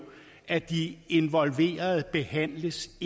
at de involverede behandles